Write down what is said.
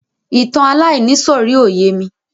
Ìtàn aláìníìsọ̀rí ò yémi.